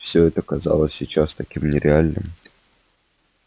всё это казалось сейчас таким нереальным